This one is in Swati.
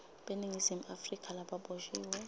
beningizimu afrika lababoshiwe